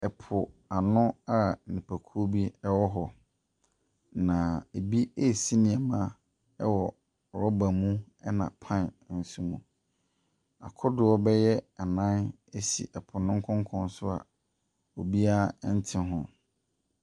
Ɛpoano a nnipakuo bi wɔ hɔ, na ebi resi nneɛma wɔ rubber mu ɛna pan nso mu. Akodoɔ bɛyɛ ana si po no nkonkɔn so a obiara nte ho.